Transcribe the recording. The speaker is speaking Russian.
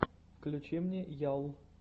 включи мне ял